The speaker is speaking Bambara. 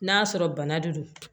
N'a sɔrɔ bana de don